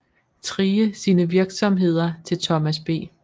Thrige sine virksomheder til Thomas B